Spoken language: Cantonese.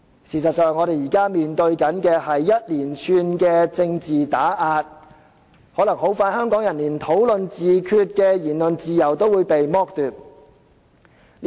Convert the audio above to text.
事實上，我們現時面對一連串政治打壓，可能香港人很快便會連討論自決的言論自由也被剝奪。